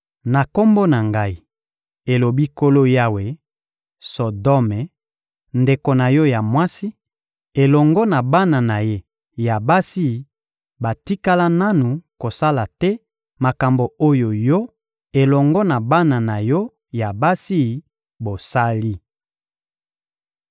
Na Kombo na Ngai, elobi Nkolo Yawe, Sodome, ndeko na yo ya mwasi, elongo na bana na ye ya basi batikala nanu kosala te makambo oyo yo elongo na bana na yo ya basi bosali.